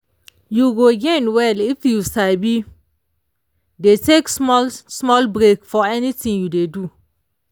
you go gain well if you sabi dey take small-small break for anything you dey do